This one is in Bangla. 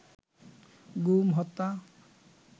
গুম, হত্যা